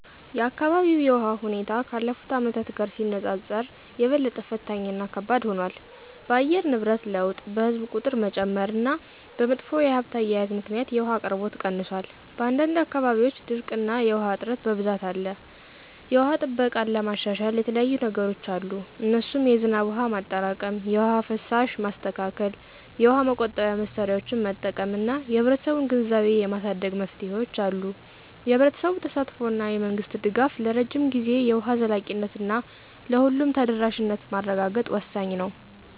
የአካባቢው የውሃ ሁኔታ ካለፉት አመታት ጋር ሲነጻጸር የበለጠ ፈታኝ እና ከባድ ሆኗል። በአየር ንብረት ለውጥ፣ በሕዝብ ቁጥር መጨመር እና በመጥፎ የሀብት አያያዝ ምክንያት የውሃ አቅርቦት ቀንሷል። በአንዳንድ አካባቢዎች ድርቅ እና የውሃ እጥረት በብዛት አለ። የውሃ ጥበቃን ለማሻሻል የተለያዩየ ነገሮች አሉ እነሱም የዝናብ ውሃ ማጠራቀም፣ የውሃ ፍሳሽ ማስተካከል፣ የውሃ ቆጣቢ መሳሪያዎችን መጠቀም እና የህብረተሰቡን ግንዛቤ የማሳደግ መፍትሄዎች አሉ። የህብረተሰቡ ተሳትፎ እና የመንግስት ድጋፍ ለረጅም ጊዜ የውሃ ዘላቂነት እና ለሁሉም ተደራሽነት ማረጋገጥ ወሳኝ ነው